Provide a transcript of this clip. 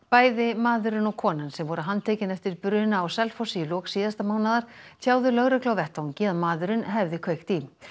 bæði maðurinn og konan sem voru handtekin eftir bruna á Selfossi í lok síðasta mánaðar tjáðu lögreglu á vettvangi að maðurinn hefði kveikt í